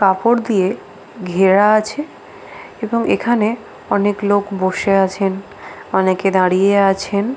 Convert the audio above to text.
কাপড় দিয়ে ঘেরা আছে এবং এখানে অনেক লোক বসে আছেন অনেকে দাঁড়িয়ে আছেন ।